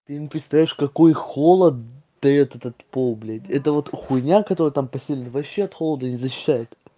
ты не представляешь какой холод даёт этот пол блядь эта вот хуйня которая там постелена вообще от холода не защищает